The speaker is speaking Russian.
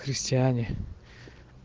крестьяне